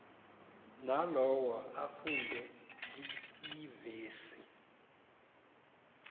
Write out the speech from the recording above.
nalowo afunde iivesi